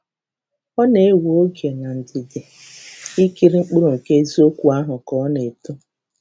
Ọ na-ewe oge na ndidi ikiri mkpụrụ nke eziokwu ahụ ka ọ na-eto.